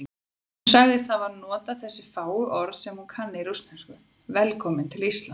Hún sagðist hafa notað þessi fáu orð sem hún kann í rússnesku: Velkominn til Íslands.